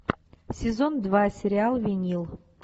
сезон два сериал винил